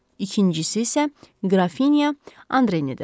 İkincisi isə Qrafinya Andrenidir.